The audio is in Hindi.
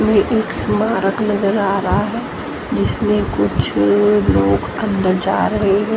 में एक स्मारक नजर आ रहा है जिसमें कुछ लोग अंदर जा रहे हैं।